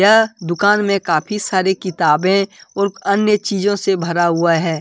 यह दुकान में काफी सारी किताबें और अन्य चीजों से भरा हुआ है।